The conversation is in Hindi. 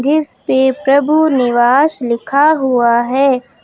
इस पे प्रभु निवास लिखा हुआ है।